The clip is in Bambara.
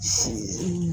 Nse